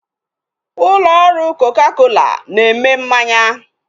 Ụlọ ọrụ koka kola ga na-eme mmanya